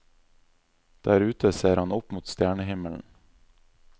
Der ute ser han opp mot stjernehimmelen.